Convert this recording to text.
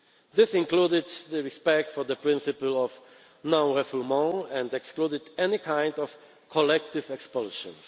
This included the respect for the principle of non refoulement and excluded any kind of collective expulsions.